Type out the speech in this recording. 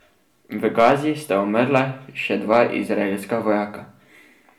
V Gazi sta umrla še dva izraelska vojaka.